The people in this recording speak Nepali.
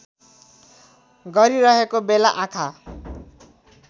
गरिरहेको बेला आँखा